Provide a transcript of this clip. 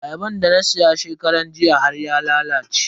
Ayaban da na siya shekaran jiya har ya lalace.